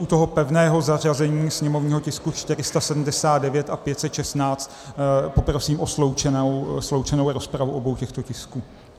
U toho pevného zařazení sněmovního tisku 479 a 516 poprosím o sloučenou rozpravu obou těchto tisků.